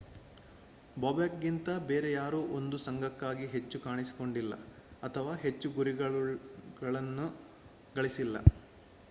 ಬೊಬೆಕ್ ಗಿಂತ ಬೇರೆ ಯಾರೊ 1 ಸoಘಕ್ಕಾಗಿ ಹೆಚ್ಚು ಕಾಣಿಸಿಕೊಂಡಿಲ್ಲ ಅಥವಾ ಹೆಚ್ಚು ಗುರಿಗಳುನ್ನು ಗಳಿಸಿಲ್ಲ